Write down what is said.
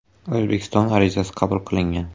O‘zbekiston arizasi qabul qilingan.